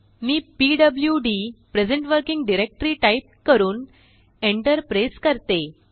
मीpwd present working directoryटाइप करून Enter press करते